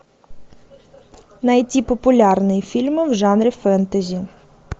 найти популярные фильмы в жанре фэнтези